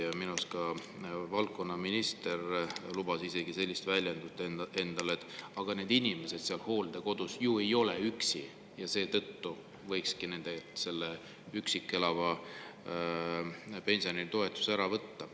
Ja minu arust ka valdkonnaminister isegi lubas endale sellist väljendust, et "aga need inimesed seal hooldekodus ju ei ole üksi ja seetõttu võikski nendelt selle üksi elava pensionäri toetuse ära võtta".